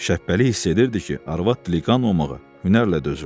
Şəhbəli hiss edirdi ki, arvad dili qanmağa hünərlə dözürdü.